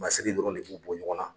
Masiri dɔrɔn de b'u bɔ ɲɔgɔn na.